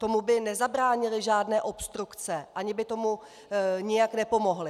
Tomu by nezabránily žádné obstrukce ani by tomu nijak nepomohly.